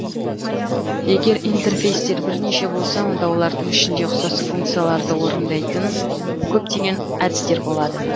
егер интерфейстер бірнеше болса онда олардың ішінде ұқсас функцияларды орындайтын көптеген әдістер болады